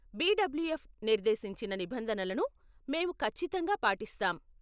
BWF నిర్దేశించిన నిబంధనలను మేము ఖచ్చితంగా పాటిస్తాం.